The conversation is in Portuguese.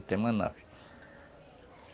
E tem uma nave.